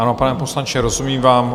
Ano, pane poslanče, rozumím vám.